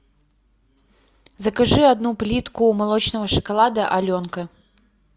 закажи одну плитку молочного шоколада аленка